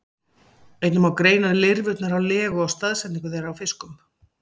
Einnig má greina lirfurnar á legu og staðsetningu þeirra í fiskum.